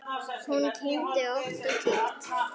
Hún kyngdi ótt og títt.